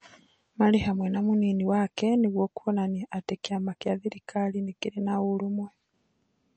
Marĩ hamwe na mũnini wake ,nĩguo kuonania atĩ kĩama kĩa thirikari nĩ kĩrĩ na ũrũmwe.